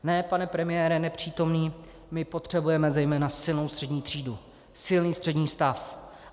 Ne, pane premiére, nepřítomný, my potřebujeme zejména silnou střední třídu, silný střední stav.